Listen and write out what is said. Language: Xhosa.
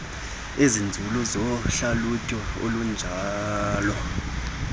ezinzulu zohlalutyo olunjalo